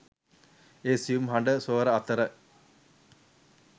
ඒ සියුම් හඬ ස්වර අතර